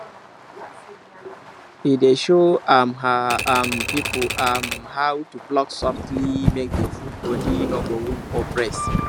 he dey show um her um people um how to pluck softly make the food body no go wound or press